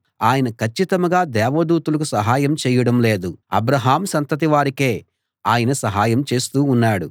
ఆయన కచ్చితంగా దేవదూతలకు సహాయం చేయడం లేదు అబ్రాహాము సంతతి వారికే ఆయన సహాయం చేస్తూ ఉన్నాడు